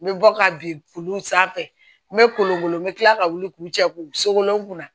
N bɛ bɔ ka bin olu sanfɛ n bɛ kolon wolo n bɛ kila ka wuli k'u cɛ k'u sekolon